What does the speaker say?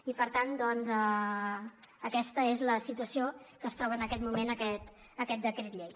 i per tant aquesta és la situació en què es troba en aquest moment aquest decret llei